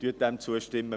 Stimmen Sie diesem zu.